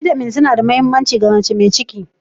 Bitamins suna da mahimmanci ga mace mai ciki.